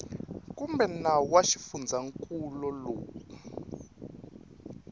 kumbe nawu wa xifundzankulu lowu